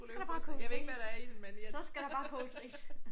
Så skal der bare koges ris. Så skal der bare koges ris